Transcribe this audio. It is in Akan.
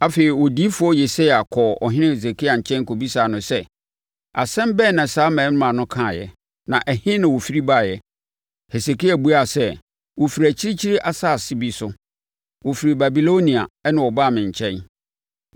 Afei Odiyifoɔ Yesaia kɔɔ ɔhene Hesekia nkyɛn, kɔbisaa no sɛ, “Asɛm bɛn na saa mmarima no kaaeɛ na ɛhe na wɔfiri baeɛ?” Hesekia buaa sɛ, “Wɔfiri akyirikyiri asase bi so. Wɔfiri Babilonia, na wɔbaa me nkyɛn.”